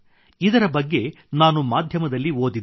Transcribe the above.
ಇದರ ಬಗ್ಗೆ ನಾನು ಮಾಧ್ಯಮದಲ್ಲಿ ಓದಿದೆ